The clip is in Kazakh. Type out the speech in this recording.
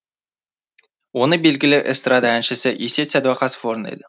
оны белгілі эстрада әншісі есет сәдуақасов орындайды